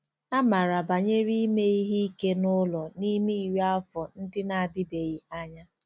Amara banyere ime ihe ike n'ụlọ n'ime iri afọ ndị na-adịbeghị anya.